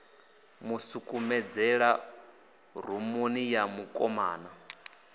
mu sukumedzela rumuni ya mukomana